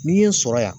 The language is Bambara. N'i ye n sɔrɔ yan